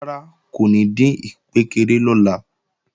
Rárá kò ní dín ìkpékeré lọ́la